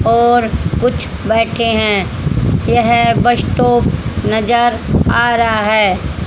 और कुछ बैठे हैं यह बस स्टॉप नजर आ रहा है।